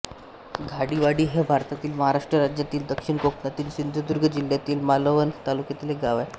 घाडीवाडी हे भारतातील महाराष्ट्र राज्यातील दक्षिण कोकणातील सिंधुदुर्ग जिल्ह्यातील मालवण तालुक्यातील एक गाव आहे